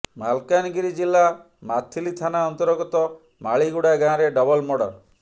ମାଲକାନଗିରି ଜିଲ୍ଲା ମାଥିଲି ଥାନା ଅନ୍ତର୍ଗତ ମାଳିଗୁଡ଼ା ଗାଁରେ ଡବଲ୍ ମର୍ଡର